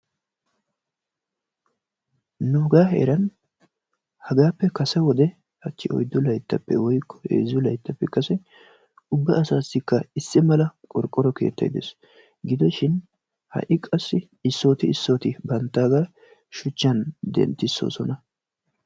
nuugaa heeran hagaaappe kase wode hachi oyddu layttappe woykko heezzu layttappe kase ubba asaasikka issi mala qorqoro keettay de'ees. gidoshin ha'i qassi issooti issooti banttaagaa shuchchan denttissoosona.